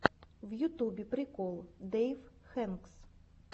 в ютубе прикол дэйв хэкс